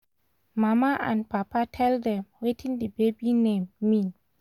mama and papa tell dem wetin the baby name mean